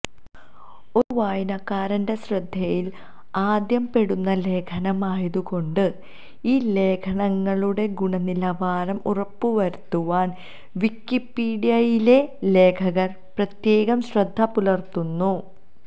ഒരു വായനക്കാരന്റെ ശ്രദ്ധയിൽ ആദ്യം പെടുന്ന ലേഖനം ആയതുകൊണ്ട് ഈ ലേഖനങ്ങളുടെ ഗുണനിലവാരം ഉറപ്പുവരുത്തുവാൻ വിക്കിപീഡിയയിലെ ലേഖകർ പ്രത്യേകം ശ്രദ്ധപുലർത്തുന്നു